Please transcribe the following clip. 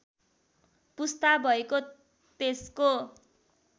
पुस्ता भएको त्यसको